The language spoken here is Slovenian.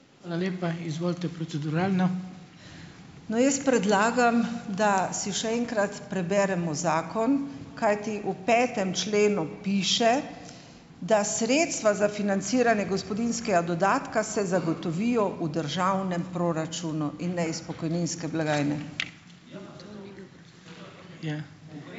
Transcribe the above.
No, jaz predlagam, da si še enkrat preberemo zakon, kajti v petem členu piše, da sredstva za financiranje gospodinjskega dodatka se zagotovijo v državnem proračunu, in ne iz pokojninske blagajne.